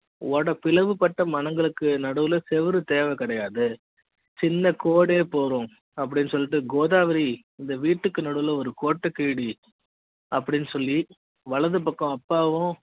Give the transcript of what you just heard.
பிளவுபட்ட மன ங்களுக்கு நடுவுல செவரு தேவை கிடையாது சின்ன கோடுயே போதும் அப்படி ன்னு சொல்லிட்டு கோதாவரி இந்த வீட்டுக்கு நடுவுல ஒரு கோட்ட கிழி டி அப்படி ன்னு சொல்லி வலது பக்கம் அப்பாவும்